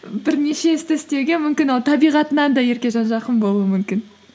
бірнеше істі істеуге мүмкін ол табиғытынан да еркежан жақын болуы мүмкін